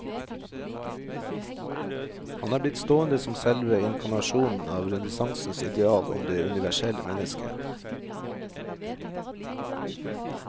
Han er blitt stående som selve inkarnasjonen av renessansens ideal om det universelle mennesket.